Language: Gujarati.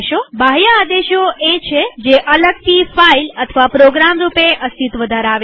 બાહ્ય આદેશો એ છે જે અલગથી ફાઈલપ્રોગ્રામ રૂપે અસ્તિત્વ ધરાવે છે